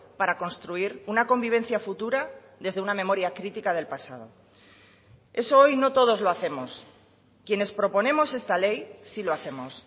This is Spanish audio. para construir una convivencia futura desde una memoria critica del pasado eso hoy no todos lo hacemos quienes proponemos esta ley sí lo hacemos